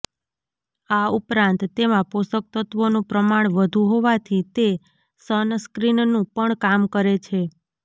આ ઉપરાંત તેમાં પોષકતત્ત્વોનું પ્રમાણ વધુ હોવાથી તે સનસ્ક્રીનનું પણ કામ કરે છે